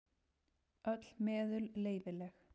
Öll meðul leyfileg.